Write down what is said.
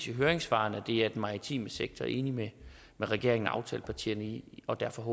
i høringssvarene at det er den maritime sektor enig med regeringen og aftalepartierne i og derfor